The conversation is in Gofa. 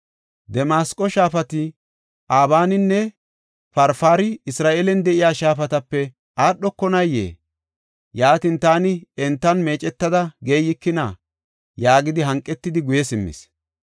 Damasqo shaafati, Abaaninne Farfari Isra7eelen de7iya shaafatape aadhokonayee? Yaatin taani entan meecetada geeyikina?” yaagidi hanqetidi, guye simmis.